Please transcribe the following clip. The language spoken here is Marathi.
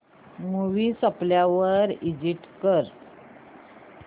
मूवी संपल्यावर एग्झिट कर